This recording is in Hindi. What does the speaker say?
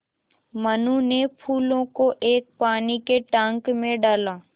मनु ने फूलों को एक पानी के टांक मे डाला